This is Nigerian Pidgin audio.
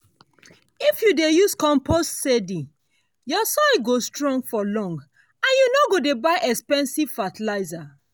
if you dey use compost steady your soil go strong for long and you no go dey buy expensive fertilizer.